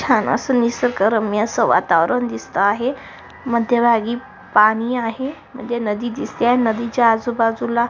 छान अस निसर्ग रम्य अस वातावरण दिसत आहे मध्य भागी पाणी आहे म्हणजे नदी दिसते आहे नदीच्या आजूबाजूला.